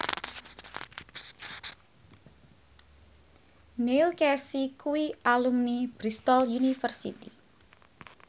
Neil Casey kuwi alumni Bristol university